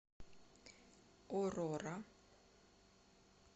орора